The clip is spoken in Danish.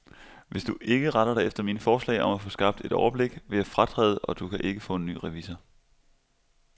Hvis du ikke retter dig efter mine forslag om at få skabt et overblik, vil jeg fratræde, og du kan ikke få en ny revisor.